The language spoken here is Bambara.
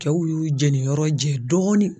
Cɛw y'u jɛniyɔrɔ jɛ dɔɔnin